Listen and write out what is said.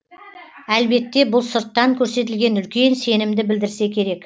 әлбетте бұл сырттан көрсетілген үлкен сенімді білдірсе керек